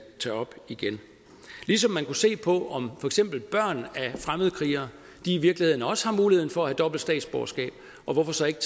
tage op igen ligesom man kunne se på om eksempel børn af fremmedkrigere i virkeligheden også har muligheden for at have dobbelt statsborgerskab og hvorfor så ikke